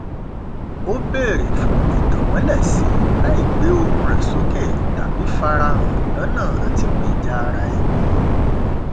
ó bèrè fún ìtànmọlẹsí láì gbé ohùn rẹ sókè tàbí farahàn lọnà àtigbèja ara ẹni